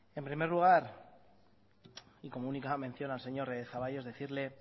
en primer lugar y como única mención al señor zaballos decirle